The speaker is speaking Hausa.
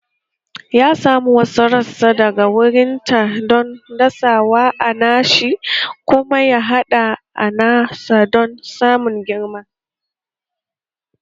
Ya sami wasu rassa daga wurinta don dasawa a nashi kuma ya haɗa a nasa don su girma